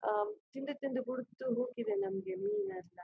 ಆಹ್ಹ್ ತಿಂದು ತಿಂದು ಬೊರ್ಧ್ಹು ಹೋಗಿದೆ ನಮಿಗೆ ಮೀನು ಅರ್ಧ.